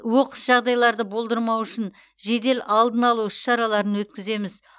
оқыс жағдайларды болдырмау үшін жедел алдын алу іс шараларын өткіземіз